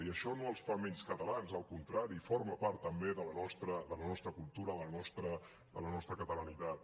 i això no els fa menys catalans al contrari forma part també de la nostra cultura de la nostra catalanitat